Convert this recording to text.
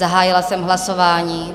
Zahájila jsem hlasování.